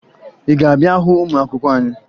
Ị ga-abịa hụ ụmụ akwụkwọ anyị?